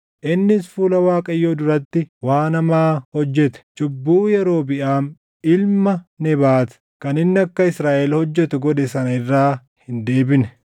Innis fuula Waaqayyoo duratti waan hamaa hojjete. Cubbuu Yerobiʼaam ilma Nebaat kan inni akka Israaʼel hojjetu godhe sana irraa hin deebine.